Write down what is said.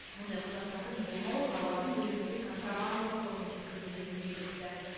мұндай құжаттардың болмауы тауардың елімізге контрабандалық жолмен жеткізілгенінің белгісі